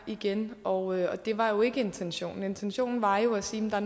igen og det var jo ikke intentionen intentionen var jo at sige at